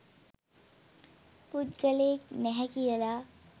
පුද්ගලයෙක් නැහැ කියලා.